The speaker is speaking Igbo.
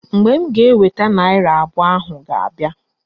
Mgbe m ga-eweta naịra abụọ ahụ ga-abịa